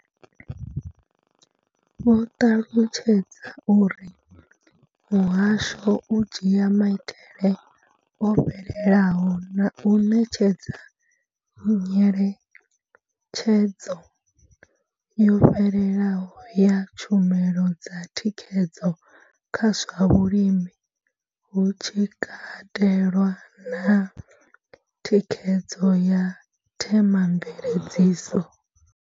Vho ṱalutshedza uri muhasho u dzhia maitele o fhelelaho na u ṋetshedza nyengedzedzo yo fhelelaho ya tshumelo dza thikhedzo kha zwa vhulimi, hu tshi katelwa na thikhedzo ya themamveledziso.